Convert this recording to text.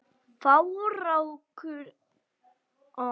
Fákur urrar fram um veg.